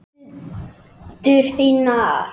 Hendur þínar.